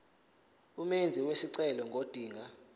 umenzi wesicelo ngodinga